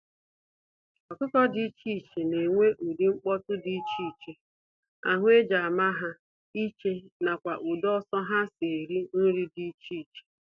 Ọkụkọ dị iche iche na enwe ụdị nkpọtu dị iche iche, ahụ eji ama ha iche, nakwa ụdị ọsọ ha si eri nri dị iche iche.